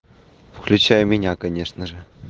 включай меня конечно же